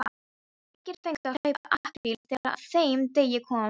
Margir fengu að hlaupa apríl þegar að þeim degi kom.